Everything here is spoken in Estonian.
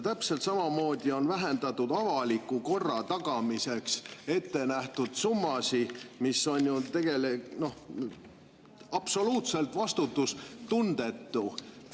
Täpselt samamoodi on vähendatud avaliku korra tagamiseks ette nähtud summasid, mis on ju absoluutselt vastutustundetu.